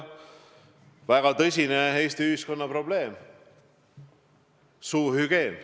Väga tõsine Eesti ühiskonna probleem on kehv suuhügieen.